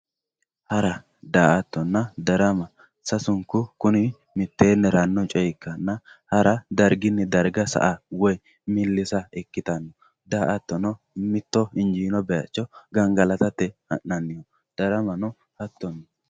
Hara, daa'attonna, darama, kuni sasunku coyi mitteenni haranoha ikkanna, hara darigini dariga sa'a woyi millissa ikkitano daa'attonno hato mito injjino bayicho gangalattatte ha'nanni, daramano hattoni